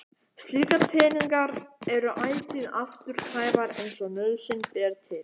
Slíkar tengingar eru ætíð afturkræfar eins og nauðsyn ber til.